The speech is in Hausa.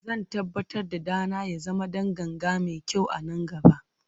Zan tabbatar da ɗana ya zama ɗan ganga mai kyau a nan gaba.